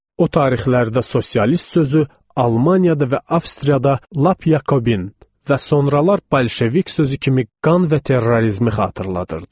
O tarixlərdə sosialist sözü Almaniyada və Avstriyada lap Yakobin və sonralar bolşevik sözü kimi qan və terrorizmi xatırladırdı.